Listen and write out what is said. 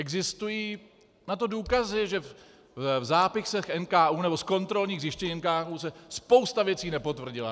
Existují na to důkazy, že v zápisech NKÚ, nebo z kontrolních zjištění NKÚ se spousta věcí nepotvrdila.